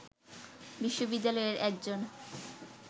বিশ্ববিদ্যালয়ের একজন